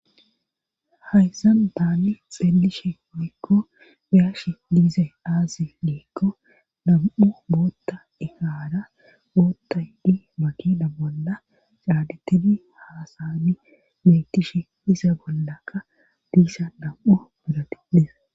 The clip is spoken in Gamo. Haysan taani xeelishe woykko beyashe diizay aasi woykko nam'u bootta ekaara ootta yidi makida bolla caadittidi haasani metishe diza bollakka diisa nam,u biratati des.